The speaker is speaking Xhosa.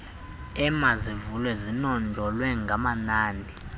emazivulwe zinonjolwe ngamanani